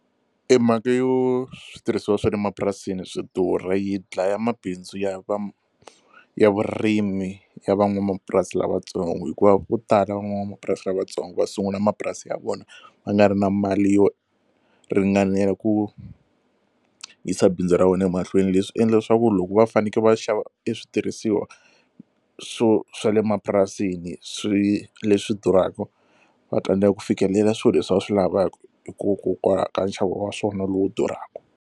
E mhaka yo switirhisiwa swa le mapurasini swi durha yi dlaya mabindzu ya va ya vurimi ya van'wamapurasi lavatsongo hikuva vo tala van'wamapurasi lavatsongo va sungula mapurasi ya vona va nga ri na mali yo ringanela ku yisa bindzu ra wena emahlweni leswi endla leswaku loko va fanekele va xava switirhisiwa swo swa le mapurasini swi leswi durhaka va tsandzeka ku fikelela swilo leswi va swi lavaka hikokwalaho ka nxavo wa swona lowu durhaka.